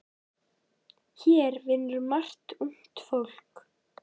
Hér vinnur margt ungt fólk.